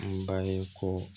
An b'a ye ko